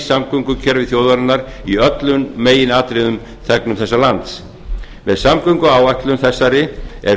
samgöngukerfið þjóðarinnar í öllum meginatriðum þegnum þessa lands með samgönguáætlun þessari er